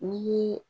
Ni